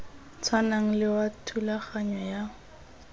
tshwanang le wa thulaganyo ya